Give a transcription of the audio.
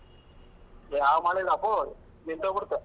ಯಾವ್ ಮಳೆ ಇಲ್ಲಪೋ ನಿಂತ್ ಹೋಗ್ಬಿಡ್ತು.